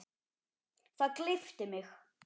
Það gleypti mig.